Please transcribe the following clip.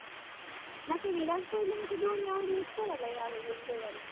ಮತ್ತೇ ವಿರಾಟ್ ಕೊಹ್ಲಿ ಮತ್ತೆ ಧೋನಿ ಅವ್ರು ಇರ್ತಾರಲ್ಲ ಯಾವಾಗ್ಲೂ India ದಲ್ಲಿ?